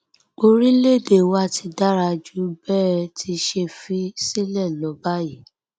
orílẹèdè wa ti dára jù bẹ ẹ ti ṣe fi sílẹ lọ báyìí